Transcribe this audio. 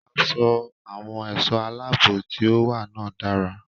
Aṣọ àwọn ẹ̀ṣọ́ aláàbò tí ó wà náà dára.